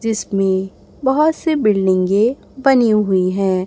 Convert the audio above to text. जिसमें बहोत से बिल्डिंगे के बनी हुई है।